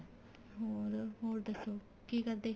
ਹੋਰ ਹੋਰ ਦੱਸੋ ਕੀ ਕਰਦੇ